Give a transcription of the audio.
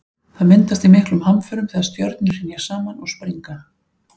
það myndast í miklum hamförum þegar stjörnur hrynja saman og springa